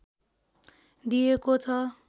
दिएको छ